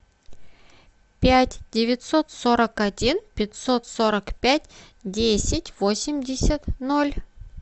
пять девятьсот сорок один пятьсот сорок пять десять восемьдесят ноль